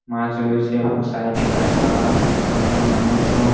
গাছ রয়েছে এবং সাইড এ গাছপালা সামনে মানুষজন।